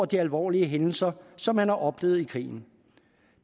de alvorlige hændelser som man har oplevet i krigen